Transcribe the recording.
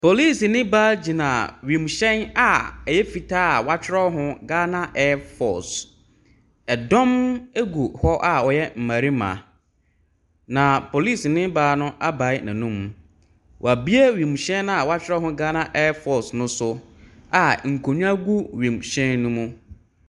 Policeni baa gyina wiemhyɛn fitaa a wɔatwerɛ ho Ghana airfoce. Ɛdɔm gu a wɔyɛ mmarima na policeni baa no abae n'anum. Waue wiem hyɛn no a watwerɛ ho Ghana airfocrce no so a nkonnwa gu wiemhyɛn no mu.